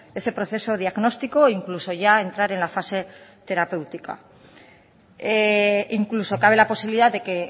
ese proceso diagnóstico o incluso ya entrar en la fase terapéutica incluso cabe la posibilidad de que